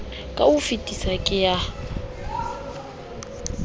ka ho fetesisa ke ya